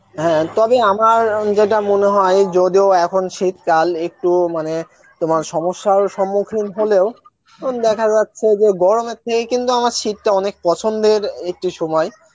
হ্যাঁ তবে আমার অ্যাঁ যেটা মনে হয় যদিও এখন শীতকাল একটু মানে তোমার সমসার সম্মুখীন হলেও দেখা যাচ্ছে যে গরমের থেকে কিন্তু আমার শীত টা অনেক পছন্দের একটি সময়